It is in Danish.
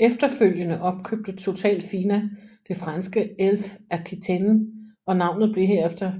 Efterfølgende opkøbte Total Fina det franske Elf Aquitaine og navnet blev herefter